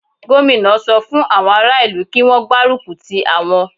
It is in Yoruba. Gómìnà sọ fún àwọn ará ìlú kí Wọ́n gbárùkù ti àwọn.